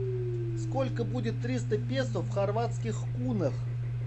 сколько будет триста песо в хорватских кунах